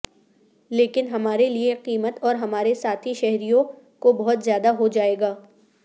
لیکن ہمارے لئے قیمت اور ہمارے ساتھی شہریوں کو بہت زیادہ ہو جائے گا